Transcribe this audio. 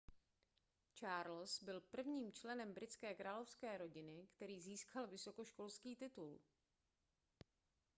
charles byl prvním členem britské královské rodiny který získal vysokoškolský titul